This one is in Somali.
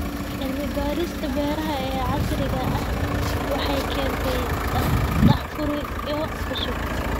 Cilmi-baarista beeraha ee casriga ahi waxay keentaa daahfuryo cusub.